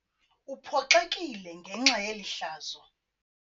Uphoxekile ngenxa yeli hlazo.